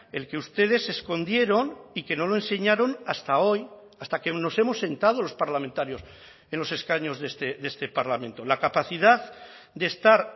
el que ustedes escondieron y que no lo enseñaron hasta hoy hasta que nos hemos sentado los parlamentarios en los escaños de este parlamento la capacidad de estar